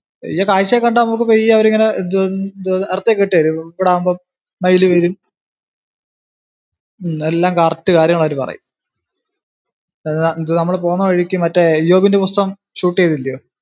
പെയ്യേ കാഴ്ച ഒക്കെ കണ്ടു നമുക്കു പെയ്യെ അവരിങ്ങനെ ഇട്ടു തരും, ഇച്ചിരൂടാവുമ്പോ മയില് വരും, ഉം എല്ലാം കറക്റ്റ് കാര്യങ്ങൾ അവര് പറയും. ഇത് നമ്മള് പോന്ന വഴിക്കു മറ്റേ ഇയോബിന്റെ പുസ്തകം shoot ചെയ്തില്ലിയോ?